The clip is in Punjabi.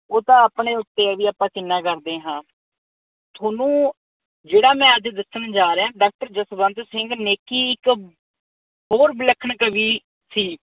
ਉਹ ਤਾਂ ਆਪਣੇ ਉੱਤੇ ਐ ਵੀ ਆਪਾਂ ਕਿੰਨਾ ਕਰਦੇ ਹਾਂ। ਥੋਨੂੰ ਜਿਹੜਾ ਮੈਂ ਅੱਜ ਦੱਸਣ ਜਾ ਰਿਹਾ ਡਾਕਟਰ ਜਸਵੰਤ ਸਿੰਘ ਨੇਕੀ ਇੱਕ ਹੋਰ ਵਿਲੱਖਣ ਕਵੀ ਸੀ।